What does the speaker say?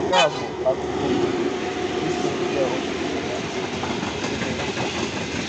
Nke a bụ akụkụ bụ́ isi nke ọfụfe ya, ọzi dị nsọ